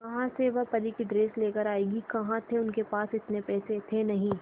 कहां से वह परी की ड्रेस लेकर आएगी कहां थे उनके पास इतने पैसे थे नही